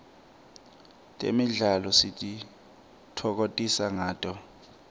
temidlalo sititfokotisa ngato